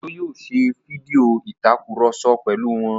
Òjó yóò ṣe fídíò ìtakùrọ̀sọ pẹ̀lú wọn